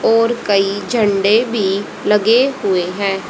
और कई झंडे भी लगे हुए हैं।